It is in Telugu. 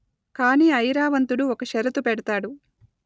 కాని ఐరావంతుడు ఒక షరతు పెడతాడు